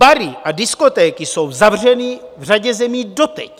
Bary a diskotéky jsou zavřeny v řadě zemí doteď.